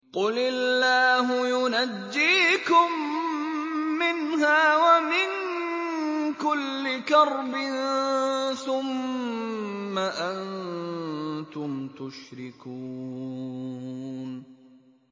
قُلِ اللَّهُ يُنَجِّيكُم مِّنْهَا وَمِن كُلِّ كَرْبٍ ثُمَّ أَنتُمْ تُشْرِكُونَ